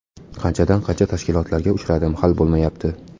Qanchadan qancha tashkilotlarga uchradim hal bo‘lmayapti.